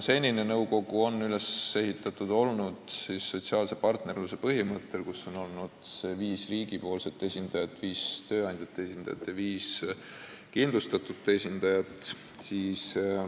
Senine nõukogu on olnud üles ehitatud sotsiaalse partnerluse põhimõttel, seal on olnud viis riigi esindajat, viis tööandjate esindajat ja viis kindlustatute esindajat.